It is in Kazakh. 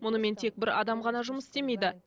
мұнымен тек бір адам ғана жұмыс істемейді